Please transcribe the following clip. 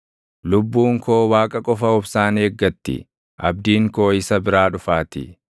Lubbuun koo Waaqa qofa obsaan eeggatti; abdiin koo isa biraa dhufaatii.